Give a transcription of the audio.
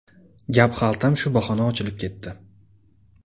Gap xaltam shu bahona ochilib ketdi.